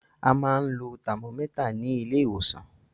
A máa ń lo tàmómẹ́tà ní ilé ìwòsàn